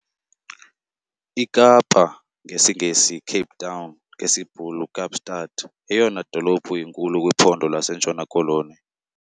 iKapa, ngesiNgesi- "Cape Town", ngesiBhulu- "Kaapstad", yeyona dolophu inkulu kwiPhondo lasentshona-Koloni.